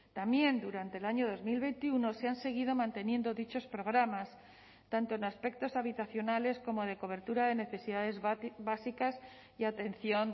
también durante el año dos mil veintiuno se han seguido manteniendo dichos programas tanto en aspectos habitacionales como de cobertura de necesidades básicas y atención